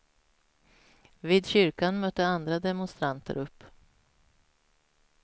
Vid kyrkan mötte andra demonstranter upp.